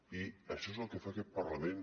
i això és el que fa aquest parlament